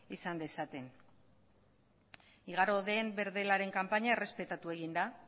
izan dezaten igaro den berdelaren kanpaina errespetatu egin da